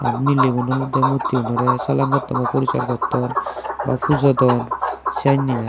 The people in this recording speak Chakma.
mileygun olodey muttiunorey salam gotton na puriskar gotton pujodon senney i.